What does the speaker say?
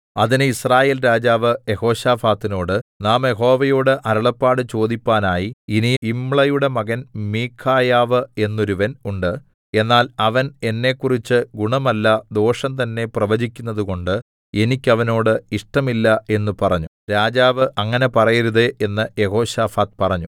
അതിന് യിസ്രായേൽ രാജാവ് യെഹോശാഫാത്തിനോട് നാം യഹോവയോട് അരുളപ്പാട് ചോദിപ്പാനായി ഇനി യിമ്ളയുടെ മകൻ മീഖായാവ് എന്നൊരുവൻ ഉണ്ട് എന്നാൽ അവൻ എന്നെക്കുറിച്ച് ഗുണമല്ല ദോഷം തന്നേ പ്രവചിക്കുന്നതുകൊണ്ട് എനിക്ക് അവനോട് ഇഷ്ടമില്ല എന്ന് പറഞ്ഞു രാജാവ് അങ്ങനെ പറയരുതേ എന്ന് യെഹോശാഫാത്ത് പറഞ്ഞു